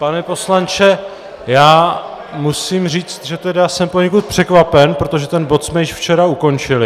Pane poslanče, já musím říct, že tedy jsem poněkud překvapen, protože ten bod jsme již včera ukončili...